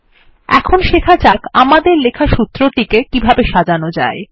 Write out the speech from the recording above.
এখন শেখা যাক আমাদের লেখা সূত্রটিকে কিভাবে সাজানো যায়